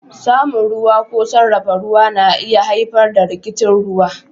Samun ruwa ko sarrafa ruwa na iya haifar da rikicin ruwa